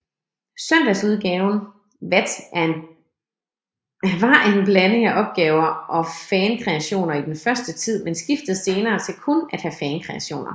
Søndagsudgaven vat en blanding af opgaver og fankreationer i den første tid men skiftede senere til kun at have fankreationer